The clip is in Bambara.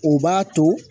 O b'a to